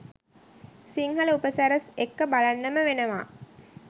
සිංහල උපසිරැස් එක්ක බලන්නම වෙනවා